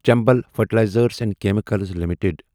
Chambal fertilisers and chemicals limited